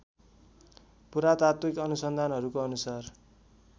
पुरातात्विक अनुसन्धानहरूको अनुसार